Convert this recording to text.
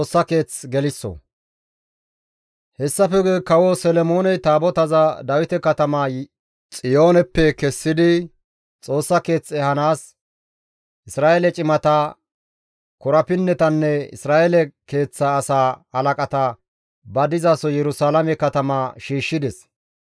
Hessafe guye kawo Solomooney Taabotaza Dawite katama Xiyooneppe kessidi Xoossa keeth ehanaas Isra7eele cimata, korapinnetanne Isra7eele keeththa asaa halaqata ba dizaso Yerusalaame katama shiishshides.